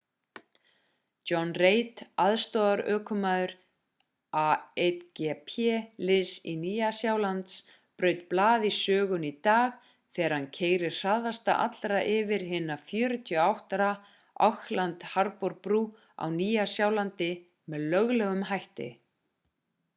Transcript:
john reid aðstoðarökumaður a1gp liðs nýja-sjálands braut blað í sögunni í dag þegar hann keyrði hraðast allra yfir hina 48 ára auckland harbour-brú á nýja-sjálandi með löglegum hætti